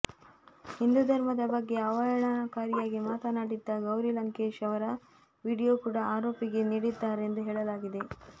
ಹಿಂದೂ ಧರ್ಮದ ಬಗ್ಗೆ ಅವಹೇಳನಕಾರಿಯಾಗಿ ಮಾತನಾಡಿದ್ದ ಗೌರಿ ಲಂಕೇಶ್ ಅವರ ವಿಡಿಯೋ ಕೂಡ ಆರೋಪಿಗೆ ನೀಡಿದ್ದಾರೆ ಎಂದು ಹೇಳಲಾಗಿದೆ